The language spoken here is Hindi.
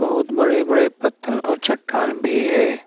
बहुत बड़े बड़े पत्थर और चट्टान भी है।